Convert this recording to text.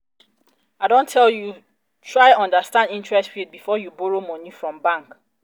i don tell you try understand interest rate before you borrow moni from bank.